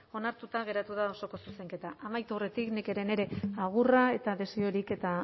onartuta geratu da osoko zuzenketa amaitu aurretik nik ere nire agurra eta desiorik eta